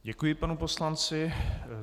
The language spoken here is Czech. Děkuji panu poslanci.